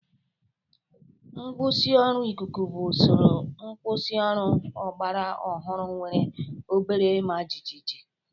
Nkwusioru ikuku bụ usoro nkwusioru ọgbara ọhụrụ nwere obere ịma jijiji